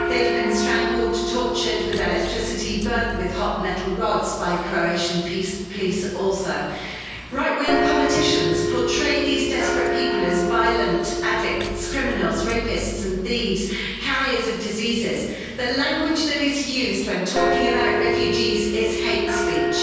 They've been strangled, tortured with electricity, and burnt with hot metal rods by Croatian police also. Right wing politicians portray these desperate people as violent addicts, criminals, rapists and thieves, carriers of diseases the language that is used when talking about refugees is hate speech.